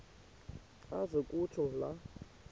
aze kutsho la